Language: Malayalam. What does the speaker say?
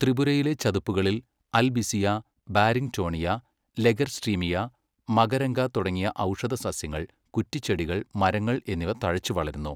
ത്രിപുരയിലെ ചതുപ്പുകളിൽ അൽബിസിയ, ബാരിങ്ടോണിയ, ലഗെർസ്ട്രീമിയ, മകരംഗ തുടങ്ങിയ ഔഷധസസ്യങ്ങൾ, കുറ്റിച്ചെടികൾ, മരങ്ങൾ എന്നിവ തഴച്ചുവളരുന്നു.